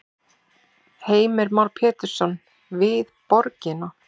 Heimir Már Pétursson: Við borgina?